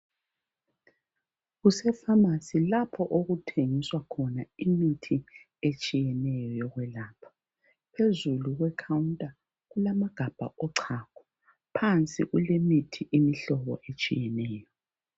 Kuse pharmacy lapho okuthengiswa khona imithi etshiyeneyo yokwelapha. Phezulu kwe counter kulamagabha ochago. Phansi kulemithi imihlobo etshiyeneyo.